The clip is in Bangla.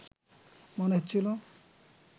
মনে হচ্ছিল